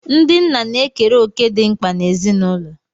Ndị nna na-ekere òkè dị mkpa n'ezinụlọ